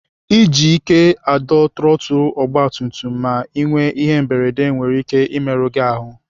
Iji ike adọ trọtụl ọgbatumtum ma Ị nwee ihe mberede nwere ike imerụ gị ahụ.